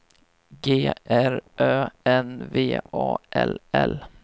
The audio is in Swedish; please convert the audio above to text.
G R Ö N V A L L